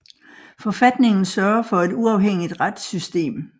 Forfatningen sørger for et uafhængigt retssystem